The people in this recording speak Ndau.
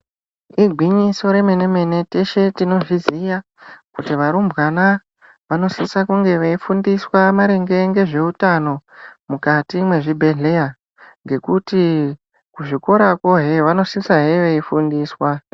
Igwinyiso remene mene teshe tinozviziya kuti varumbwana vanosisa kunge veifundiswa maringe nezveutano mukati mezvibhedheya ngekuti kuzvikora ehe vanosisa he veifundiswa.